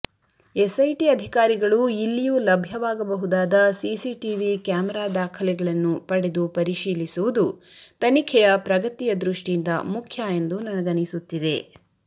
SIT ಅಧಿಕಾರಿಗಳು ಇಲ್ಲಿಯೂ ಲಭ್ಯವಾಗಬಹುದಾದ ಸಿಸಿಟಿವಿ ಕ್ಯಾಮರಾ ದಾಖಲೆಗಳನ್ನು ಪಡೆದು ಪರಿಶೀಲಿಸುವುದು ತನಿಖೆಯ ಪ್ರಗತಿಯ ದೃಷ್ಟಿಯಿಂದ ಮುಖ್ಯ ಎಂದು ನನಗನಿಸುತ್ತಿದೆ